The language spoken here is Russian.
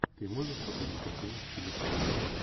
ты можешь показать картину в стиле пародии